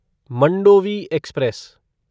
Mandovi express